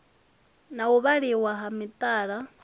na u vhaliwa ha mithara